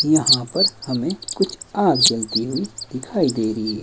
यहां पर हमें कुछ आग जलती हुई दिखाई दे रही है।